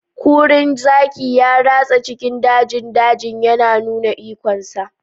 Kurin zaki ya ratsa cikin dajin dajin yana nuna ikonsa.